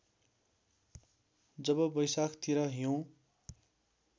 जब बैशाखतिर हिउँ